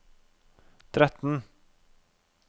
tretten